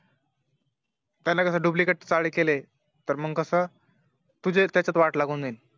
त्यांनी कस Duplicate चाळे केले तर मग कस तुझी त्यात वाट लागून जाईन